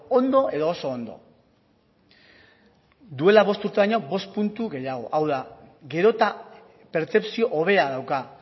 ondo edo oso ondo duela bost urte baino bost puntu gehiago hau da gero eta pertzepzio hobea dauka